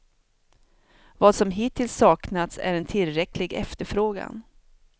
Vad som hittills saknats är en tillräcklig efterfrågan.